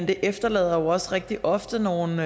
det efterlader jo også rigtig ofte nogle